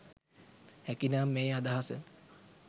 හැකිනම් මේ අදහස